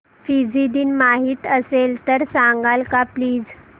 Fiji दिन माहीत असेल तर सांगाल का प्लीज